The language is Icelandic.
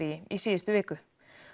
í síðustu viku